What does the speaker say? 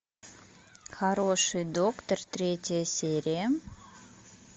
хороший доктор третья серия